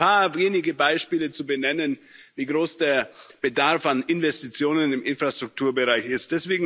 Nur um mal ein paar wenige Beispiele zu benennen, wie groß der Bedarf an Investitionen im Infrastrukturbereich ist.